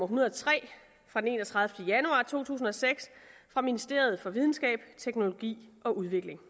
hundrede og tre fra den enogtredivete januar to tusind og seks fra ministeriet for videnskab teknologi og udvikling